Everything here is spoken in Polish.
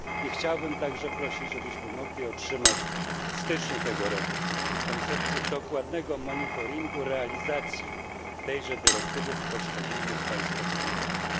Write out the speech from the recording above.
Chciałbym także prosić, abyśmy mogli otrzymać w styczniu tego roku koncepcję dokładnego monitoringu realizacji tejże dyrektywy w poszczególnych państwach członkowskich.